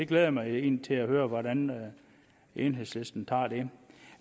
glæder mig egentlig til at høre hvordan enhedslisten tager det